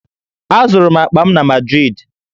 Azụrụ m akpa m na Madrịdị